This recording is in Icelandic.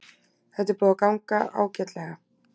Þetta er búið að ganga ágætlega